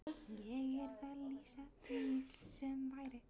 Ég yrði að lýsa því sem væri.